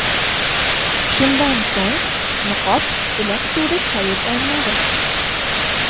Shundan so‘ng niqob iliq suvda chayib olinadi.